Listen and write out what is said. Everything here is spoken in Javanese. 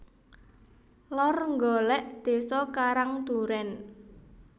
Lor Nggolek desa Karang Duren